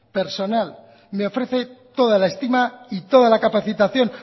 personal me ofrece toda la estima y toda la capacitación